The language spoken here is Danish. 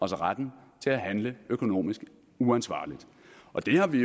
retten til at handle økonomisk uansvarligt og det har vi